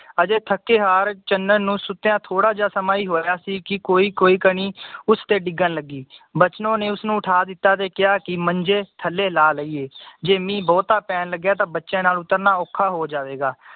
ਅਜੇ ਥੱਕੇ ਹਾਰ ਚੰਨਨ ਨੂੰ ਸੁੱਤਿਆਂ ਥੋੜਾ ਈ ਸਮਾਂ ਹੋਇਆ ਸੀ ਕਿ ਕੋਈ ਕੋਈ ਕਨੀ ਉਸਤੇ ਡਿੱਗਣ ਲੱਗੀ ਬਚਨੋ ਨੇ ਉਸਨੂੰ ਉਠਾ ਦਿੱਤਾ ਤੇ ਕਿਹਾ ਕਿ ਮੰਜੇ ਥੱਲੇ ਲਾ ਲਇਏ ਜੇ ਮੀਹ ਬਹੁਤਾ ਪੈਣ ਲੱਗਿਆ ਤਾਂ ਬੱਚਿਆਂ ਨਾਲ ਉਤਰਨਾ ਔਖਾ ਹੋ ਜਾਵੇਗਾ